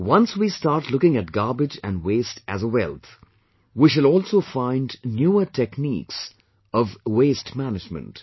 Once we start looking at garbage and waste as a wealth, we shall also find newer, techniques of waste management